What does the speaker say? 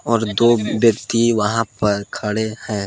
और दो व्यक्ति वहां पर खड़े हैं।